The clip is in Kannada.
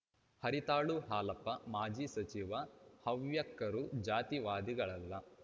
ಹರಿತಾಳು ಹಾಲಪ್ಪ ಮಾಜಿ ಸಚಿವ ಹವ್ಯಕರು ಜಾತಿವಾದಿಗಳಲ್ಲ